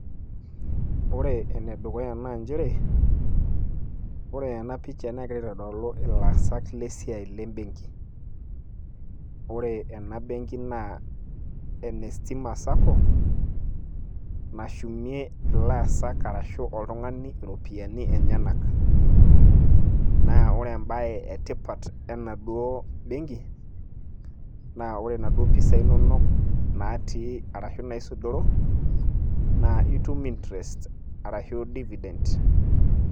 ore ene dukuya naa nchere, ore ena picha negira aitodolu ilaasak le siai le benki. ore ena benki naa ene stima sacco, nashumie oltung'ani iropiyiani enyenak. ore ebae etipat ena duo benki, naa pre inaduoo pisai inono naisudoro. naa itum interest ashu divident.